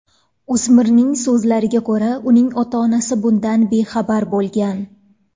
O‘smirning so‘zlariga ko‘ra, uning ota-onasi bundan bexabar bo‘lgan.